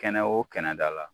Kɛnɛ o kɛnɛ dala